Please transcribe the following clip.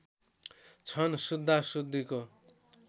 छन् शुद्धा शुद्धीको